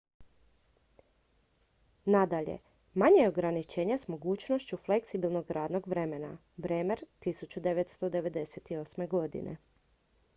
nadalje manje je ograničenja s mogućnošću fleksibilnog radnog vremena. bremer 1998.